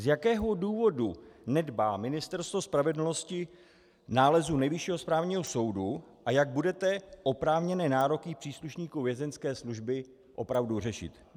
Z jakého důvodu nedbá Ministerstvo spravedlnosti nálezu Nejvyššího správního soudu a jak budete oprávněné nároky příslušníků Vězeňské služby opravdu řešit?